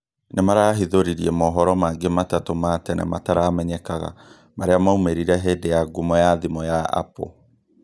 nĩmarahithũrĩrie mohoro mangĩ matatũ ma tene mataramenyekaga marĩa maũmĩrire hĩndĩ ya ngũmo ya thimũ ya Apple